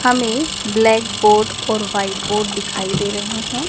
हमें black board और white board दिखाई दे रहे हैं।